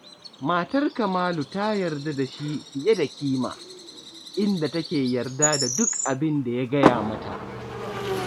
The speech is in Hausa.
Matar Kamalu ta yarda da shi fiye da kima, inda take yarda da duk abin da ya gaya mata